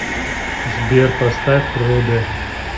сбер поставь руде